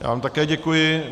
Já vám také děkuji.